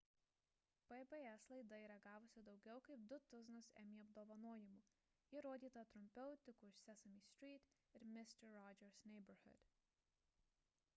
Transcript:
pbs laida yra gavusi daugiau kaip du tuzinus emmy apdovanojimų ji rodyta trumpiau tik už sesame street ir mister rogers' neighborhood